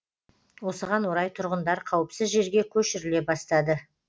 осыған орай тұрғындар қауіпсіз жерге көшіріле бастады